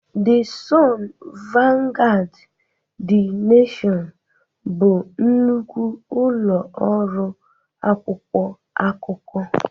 The Sun, Vanguard, The Nation bụ nnukwu ụlọ ọrụ akwụkwọ akụkọ.